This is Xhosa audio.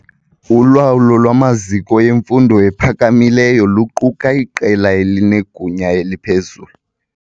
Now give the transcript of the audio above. Ulawulo lwamaziko emfundo ephakamileyo luquka iqela elinegunya eliphezulu.